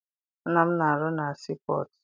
Nna m na-arụ na sii pọtụ.